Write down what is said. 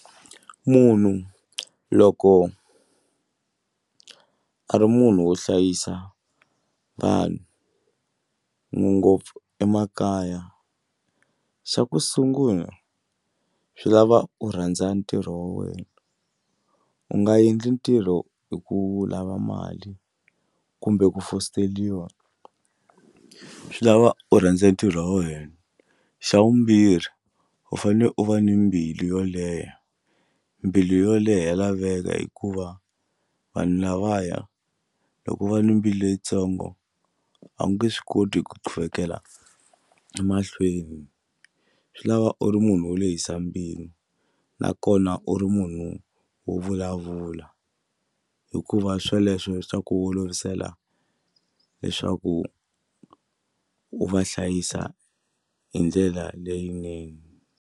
Munhu loko a ri munhu wo hlayisa vanhu ngopfu emakaya xa ku sungula swi lava u rhandza ntirho wa wena u nga endli ntirho hi ku lava mali kumbe ku fositeriwa swi lava u rhandza ntirho wa wena. Xa vumbirhi u fanele u va ni mbilu yo leha mbilu yo leha ya laveka hikuva vanhu lavaya loko u va ni mbilu leyitsongo a wu nge swi koti ku qhuvekela emahlweni swi lava u ri munhu wo lehisa mbilu nakona u ri munhu wo vulavula hikuva swoleswo swa ku olovisela leswaku u va hlayisa hi ndlela leyinene.